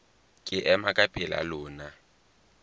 ke ema ka pela lona